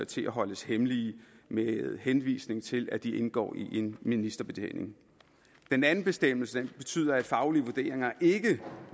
til at holdes hemmelige med henvisning til at de indgår i en ministerbetjening den anden bestemmelse betyder at faglige vurderinger